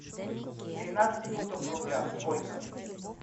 тринадцать фунтов в рублях сколько